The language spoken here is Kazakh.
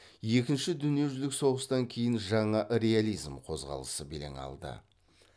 екінші дүниежүзілік соғыстан кейін жаңа реализм қозғалысы белең алды